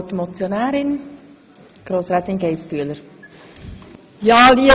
Die Motionärin hat nochmals das Wort.